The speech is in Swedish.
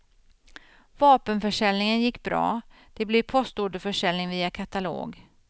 Vapenförsäljningen gick bra, det blev postorderförsäljning via katalog.